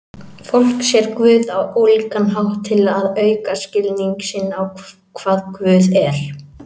Fólk sér Guð á ólíkan hátt til að auka skilning sinn á hvað Guð er.